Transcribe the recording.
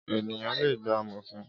Éniyán lé gbá àmófín